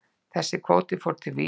Þessi kvóti fór til Vísis.